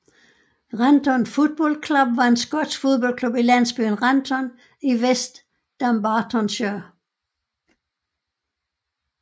Renton Football Club var en skotsk fodboldklub i landsbyen Renton i West Dumbartonshire